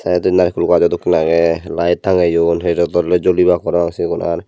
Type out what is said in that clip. tay indi lai phul gajo dokken agey light tangeyon redot oley julibak parapang sigun ar.